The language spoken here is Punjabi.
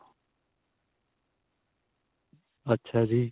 ਅੱਛਾ ਜੀ.